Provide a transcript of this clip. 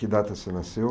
Que data você nasceu?